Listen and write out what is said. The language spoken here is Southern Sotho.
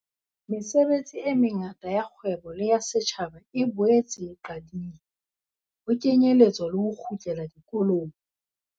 Mesebetsi e mengata ya kgwebo le ya setjhaba e boetse e qadile, ho kenyeletswa le ho kgutlela dikolong.